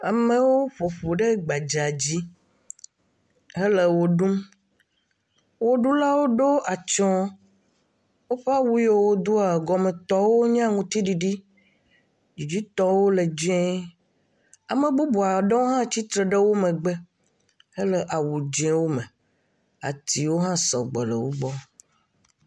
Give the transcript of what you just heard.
Ame aɖewo ƒoƒu ɖe gbadza dzi he le wɔ ɖum. Ɣeɖulawo ɖo atysɔ̃e. Woƒe awu ya wodoa, ɖome tɔ nye aŋutiɖiɖi, dzitɔwo le dzɛ. Ame bubu aɖewo tsitre ɖe megbe hele awu dzɛwo me. Atiwo hã sɔgbɔ le